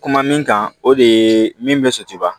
Kuma min kan o de ye min be setiba